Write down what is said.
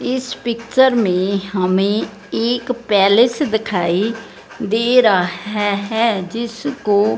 इस पिक्चर में हमे एक पैलेस दिखाई दे रहा है है जिसको--